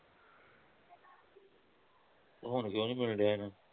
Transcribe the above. ਹੁਣ ਕਿਉਂ ਨਹੀਂ ਮਿਲ ਰਿਹਾ